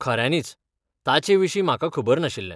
खऱ्यानीच! ताचे विशीं म्हाका खबर नाशिल्लें.